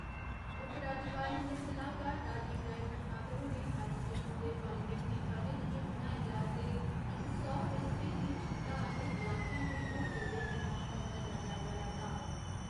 उपराज्यपाल हुन्दे सलाह्कार राजीव राय भटनागर होरें अज्ज जम्मू दे पालिटैक्नीक कालेज च बनाए जा'रदे इक सौ बिस्तरें दी छमता आह्‌ले जागतें दे होस्टल दे निर्माण कम्मै दा जायजा लैता।